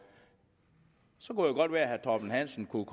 så kunne det godt være at herre torben hansen kunne